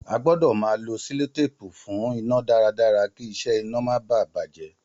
A gbọ́dọ̀ máa lo selotépù fún iná dára dára kí isẹ ina máa baà bàjé